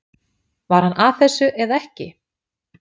Var hann að þessu eða ekki?